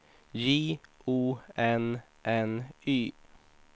J O N N Y